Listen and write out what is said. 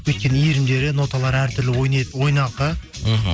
өйткені иірімдері ноталары әртүрлі ойнаңқы мхм